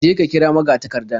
Je ka kira magatakardan.